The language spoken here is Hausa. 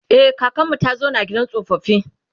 e kakanmu ta zauna a gidan tsofaffi